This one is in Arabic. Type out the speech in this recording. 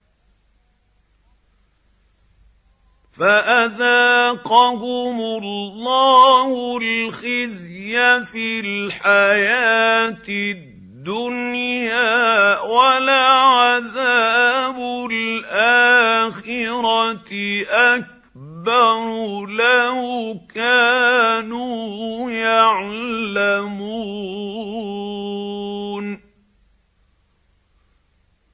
فَأَذَاقَهُمُ اللَّهُ الْخِزْيَ فِي الْحَيَاةِ الدُّنْيَا ۖ وَلَعَذَابُ الْآخِرَةِ أَكْبَرُ ۚ لَوْ كَانُوا يَعْلَمُونَ